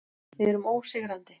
Við erum ósigrandi.